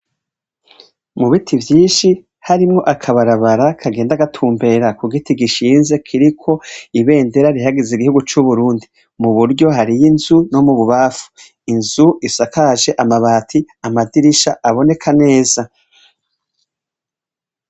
Mu biti vyinshi harimwo akabarabara, kagenda gatumbera ku giti gishinze kiriko ibendera rihayagiza igihugu cu Burundi. Buryo hari inzu no mububamfu inzu isakaje amabati, amadirisha ntaboneka neza.